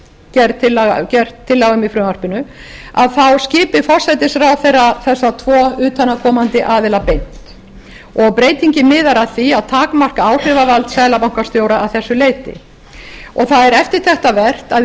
gerð tillaga um í frumvarpinu þá skipi forsætisráðherra þessa tvo utanaðkomandi aðila beint og breytingin miðar að því að takmarka áhrifavald seðlabankastjóra að þessu leyti það er eftirtektarvert að í